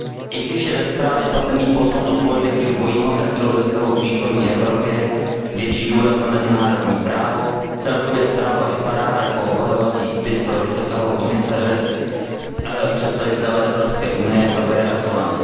I když je ve zprávě patrný posun od politiky dvojího metru ve vztahu k východní Evropě, větší důraz na mezinárodní právo, celkově zpráva vypadá jako obhajovací spis vysokého představitele Evropské unie Javiera Solany.